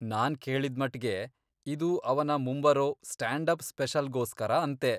ನಾನ್ ಕೇಳಿದ್ಮಟ್ಗೆ ಇದು ಅವನ ಮುಂಬರೋ ಸ್ಟಾಂಡ್ ಅಪ್ ಸ್ಪೆಷಲ್ಗೋಸ್ಕರ ಅಂತೆ.